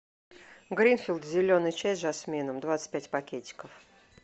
гринфилд зеленый чай с жасмином двадцать пять пакетиков